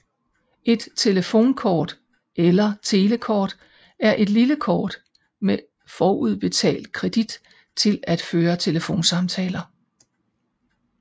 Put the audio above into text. Et telefonkort eller telekort er et lille kort med forudbetalt kredit til at føre telefonsamtaler